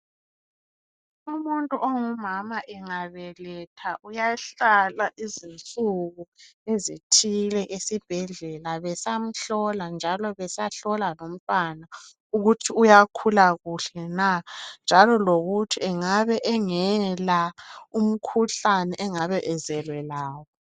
Umuntu ongumama engabeletha uyahlala izinsuku esibhedlela bemhlola njalo besahlola lomntwana ukuthi uyakhula kuhle na njalo lokuthi engabe engela umkhuhlane angabe ezelwe lawo